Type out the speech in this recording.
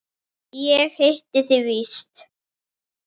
Ég hitti þig víst!